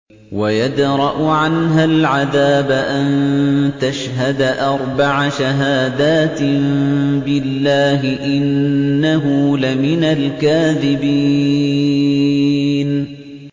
وَيَدْرَأُ عَنْهَا الْعَذَابَ أَن تَشْهَدَ أَرْبَعَ شَهَادَاتٍ بِاللَّهِ ۙ إِنَّهُ لَمِنَ الْكَاذِبِينَ